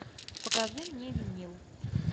покажи мне винил